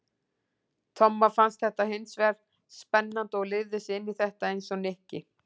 Tomma fannst þetta hins vegar spennandi og lifði sig inn í þetta eins og Nikki.